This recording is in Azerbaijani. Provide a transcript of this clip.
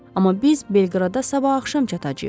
Amma biz Belqradda sabah axşam çatacağıq.